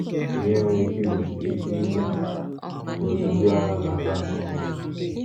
Kedu ihe nwere ike igbochi ike igbochi ka otu ndị ọrụ na-aga nke ọma?